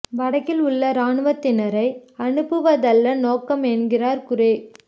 வடக்கில் உள்ள இராணுவத்தினரை அனுப்புவதல்ல நோக்கம் என்கிறார் குரே